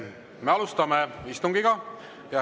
Me alustame istungit.